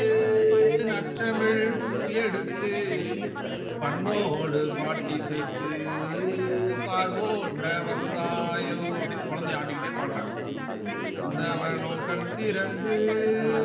நச்சமில் பூ எடுத்து பண்ணோடு பாட்டிசைத்து பால் போற்ற வந்தாயோ அப்டின்னு குழந்தைய ஆட்டிக்கிட்டே பாடுறாங்க நந்த வனம் கண் திறந்து